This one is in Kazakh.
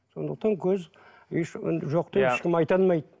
сондықтан көз жоқ деп ешкім айта алмайды